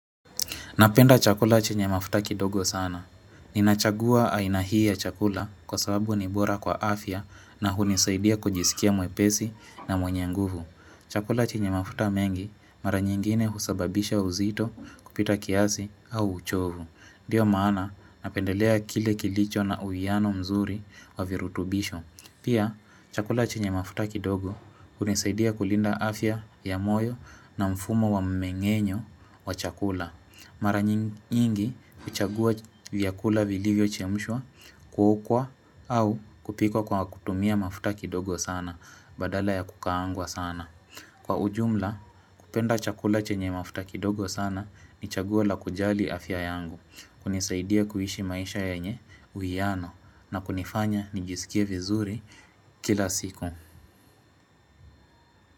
Napenda chakula chenye mafuta kidogo sana. Ninachagua aina hii ya chakula kwa sababu ni bora kwa afya na hunisaidia kujisikia mwepesi na mwenye nguvu. Chakula chenye mafuta mengi mara nyingine husababisha uzito kupita kiasi au uchovu. Ndio maana napendelea kile kilicho na uwiano mzuri wa virutubisho. Pia chakula chenye mafuta kidogo hunisaidia kulinda afya ya moyo na mfumo wa mmeng'enyo wa chakula. Mara nyingi huchagua vyakula vilivyo chemshwa, kuokwa au kupikwa kwa kutumia mafuta kidogo sana badala ya kukaangwa sana. Kwa ujumla, hupenda chakula chenye mafuta kidogo sana ni chaguo la kujali afya yangu, hunisaidia kuishi maisha yenye uwiano na kunifanya nijisikie vizuri kila siku.